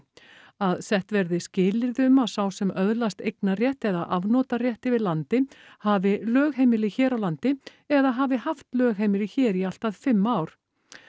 að sett verði skilyrði um að sá sem öðlast eignarrétt eða afnotarétt yfir landi hafi lögheimili hér á landi eða hafi haft lögheimili hér í allt að fimm ár